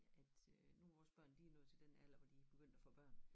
At øh nu vores børn de er nået til den alder hvor de er begyndt at få børn